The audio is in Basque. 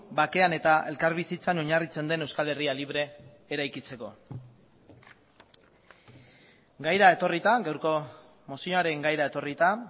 bakean eta elkarbizitzan oinarritzen den euskal herria libre eraikitzeko gaira etorrita gaurko mozioaren gaira etorrita